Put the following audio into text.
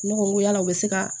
Ne ko n ko yala u bɛ se ka